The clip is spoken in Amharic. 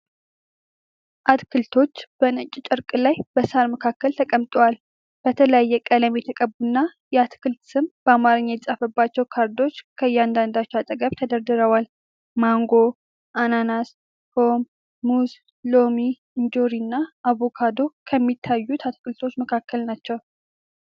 አትክልቶች በነጭ ጨርቅ ላይ በሣር መካከል ተቀምጠዋል። በተለያየ ቀለም የተቀቡና የአትክልት ስም በአማርኛ የተጻፈባቸው ካርዶች ከእያንዳንዳቸው አጠገብ ተደርድረዋል። ማንጎ፣ አናናስ፣ ፖም፣ ሙዝ፣ ሎሚ፣ እንጆሪ እና አቮካዶ ከሚታዩት አትክልቶች መካከል ናቸው።